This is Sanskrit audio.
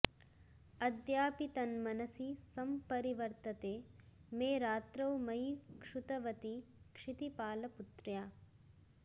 अद्यापि तन्मनसि संपरिवर्तते मे रात्रौ मयि क्षुतवति क्षितिपालपुत्र्या